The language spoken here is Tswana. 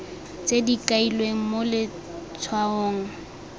tse di kailweng mo letshwaong